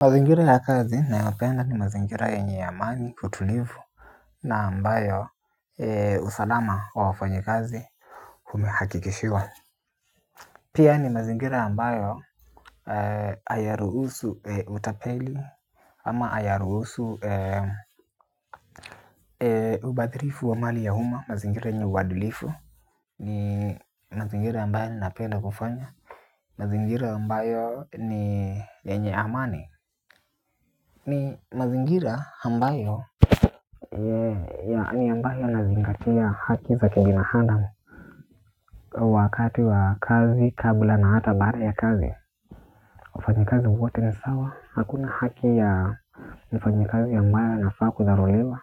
Mazingira ya kazi nayapenda ni mazingira yenye amani utulivu. Na ambayo usalama wa wafanyikazi humehakikishiwa. Pia ni mazingira ambayo ayaruhusu utapeli. Ama ayaruhusu ubadhirifu wa mali ya umma mazingira yenye uadilifu. Ni mazingira ambayo ninapenda kufanya. Mazingira ambayo ni yenye amani. Ni mazingira ambayo yaani ambayo inazingatia haki za kibinadamu wakati wa kazi kabla na hata baada ya kazi wafanyakazi wote ni sawa. Hakuna haki ya mfanyakazi ambae anafaa kudharauliwa.